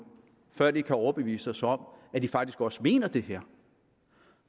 før de kan overbevise os om at de faktisk også mener det her